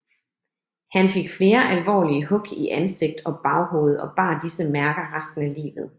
Han fik flere alvorlige hug i ansigt og baghoved og bar disse mærker resten af livet